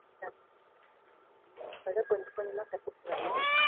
இப்போ தான் கொஞ்ச கொஞ்சமா கத்துக்கிட்டு வர்றேன்.